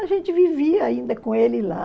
A gente vivia ainda com ele lá.